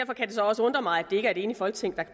så også undre mig at det ikke er et enigt folketing der